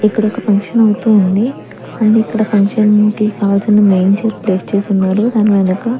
ఇక్కడ ఒక ఫంక్షన్ అవుతూ ఉంది అన్ని ఇక్కడ ఫంక్షన్ కి కావాల్సిన మెయిన్ చైర్ ప్లేస్ చేసి ఉన్నారు. దాని వెనక --